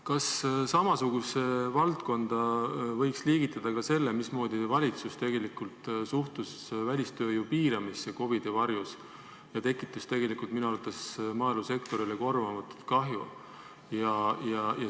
Kas samasse valdkonda võiks liigitada ka selle, mismoodi valitsus suhtus välistööjõu piiramisse COVID-i varjus ja tekitas minu arvates maaelusektorile korvamatut kahju?